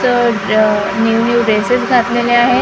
New new dresses घातलेले आहेत.